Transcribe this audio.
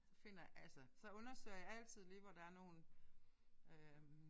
Så finder altså så undersøger jeg altid lige hvor der er nogle øh